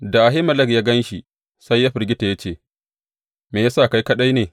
Da Ahimelek ya gan shi sai ya firgita ya ce, Me ya sa kai kaɗai ne?